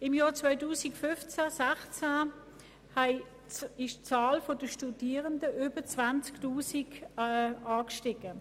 Im Jahr 2015/16 ist die Zahl der Studierenden auf über 20 000 angestiegen.